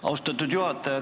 Austatud juhataja!